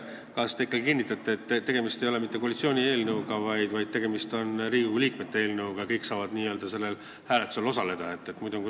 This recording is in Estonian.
Kas te kinnitate, et tegemist ei ole mitte koalitsiooni eelnõuga, vaid tegemist on Riigikogu liikmete eelnõuga ja kõik saavad sellel hääletusel osaleda?